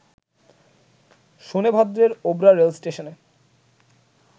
শোনেভদ্রের Obra রেলস্টেশনে